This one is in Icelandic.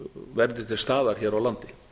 verði til staðar hér á landi